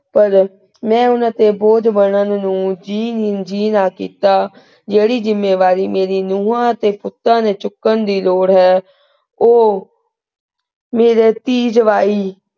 ਪਰ ਮੈਂ ਉਹਨਾਂ ਤੇ ਬੋਝ ਬਣਨ ਨੂੰ ਜੀ ਨੂੰ ਜੀ ਨਾ ਕੀਤਾ। ਜਿਹੜੀ ਜਿੰਮੇਵਾਰੀ ਮੇਰੀ ਨੂੰਹਾਂ ਅਤੇ ਪੁੱਤਾਂ ਨੇ ਚੁੱਕਣ ਦੀ ਲੋੜ ਹੈ ਉਹ ਮੇਰੇ ਧੀ ਜਵਾਈ,